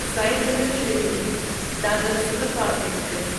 Sengar Shirdi Dadar superfast express